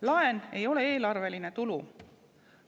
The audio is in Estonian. Laen ei ole eelarveline tulu.